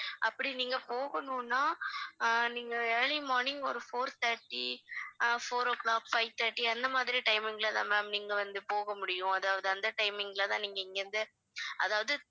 அப்படி நீங்க போகணும்னா ஆஹ் நீங்க early morning ஒரு four thirty அஹ் four o'clock, five thirty அந்த மாதிரி timimg ல தான் ma'am நீங்க வந்து போக முடியும் அதாவது அந்த timing ல தான் நீங்க இங்க இருந்து அதாவது